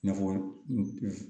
N'a fɔ